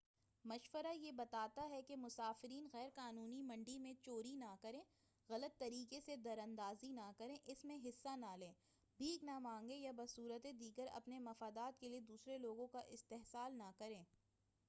مشورہ یہ بتا تا ہے کہ مسافرین غیر قانونی منڈی میں چوری نہ کریں غلط طریقے سے دراندازی نہ کریں اس میں حصہ نہ لیں بھیک نہ مانگیں یا بصورت دیگر اپنے مفادات کے لئے دوسرے لوگوں کا استحصال نہ کریں